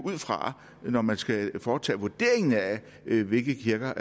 fra når man skal foretage vurderingen af hvilke kirker